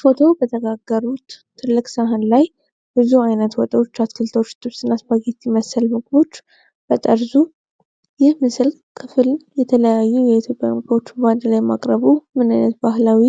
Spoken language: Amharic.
ፎቶው በተጋሩት ትልቅ ሰሃን ላይ ብዙ አይነት ወጦች፣ አትክልቶች፣ ጥብስ እና ስፓጌቲ መሰል ምግቦች በጠርዙ፤ ይህ የምስሉ ክፍል የተለያዩ የኢትዮጵያ ምግቦችን በአንድ ላይ ማቅረቡ ምን ዓይነት ባህላዊ